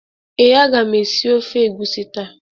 Ee, aga m esi ofe egwusi taa.